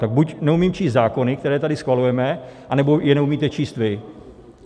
Tak buď neumím číst zákony, které tady schvalujeme, anebo je neumíte číst vy.